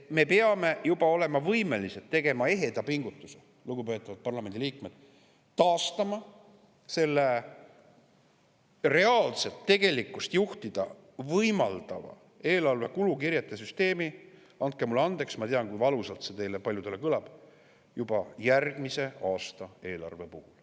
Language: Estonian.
Me peame olema juba võimelised tegema ehedat pingutust, lugupeetavad parlamendiliikmed, ja me peame taastama selle reaalset tegelikkust juhtida võimaldava eelarve kulukirjete süsteemi – andke mulle andeks, ma tean, kui valusalt see paljudele teist kõlab – juba järgmise aasta eelarve puhul.